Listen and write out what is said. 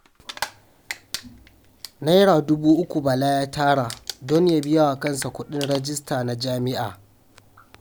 Naira dubu uku Bala ya tara don ya biya wa kansa kuɗin rajista na Jami'a